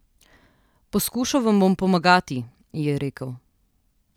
Poskušal vam bom pomagati, ji je rekel.